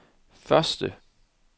første